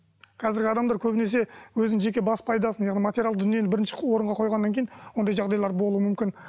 қазіргі адамдар көбінесе өзінің жеке бас пайдасын яғни материалдық дүниені бірінші орынға қойғаннан кейін ондай жағдайлар болуы мүмкін